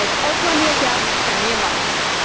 Die krijgt alsmaar meer geld en meer macht.